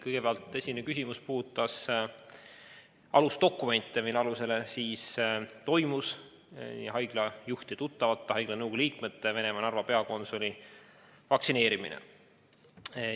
Kõigepealt, esimene küsimus puudutas dokumente, mille alusel toimus haiglajuhtide tuttavate, haiglate nõukogude liikmete ja Venemaa Narva peakonsuli vaktsineerimine.